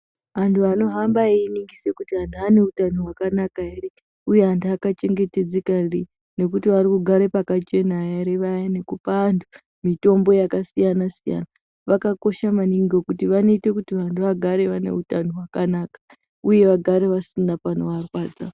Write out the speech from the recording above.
Antu anohamba einingisa kuti antu ane hutano hwakanaka here uye vantu vakachengetedzeka here uye antu akugara pakachena here payani nekupa antu mitombo yakasiyana siyana zvakakosha maningi ngekuti vanoita kuti vantu vagare vane hutano hwakanaka uye vagare vasina panovarwadza.